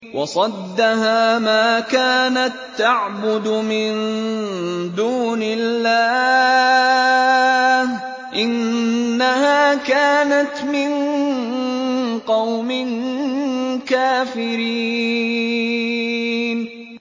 وَصَدَّهَا مَا كَانَت تَّعْبُدُ مِن دُونِ اللَّهِ ۖ إِنَّهَا كَانَتْ مِن قَوْمٍ كَافِرِينَ